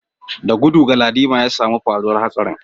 Da gudu Galadima ya samu labarin faruwar hatsarin